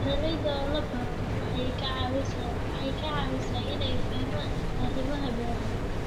Beeralayda oo la baro waxay ka caawisaa inay fahmaan arrimaha beeraha.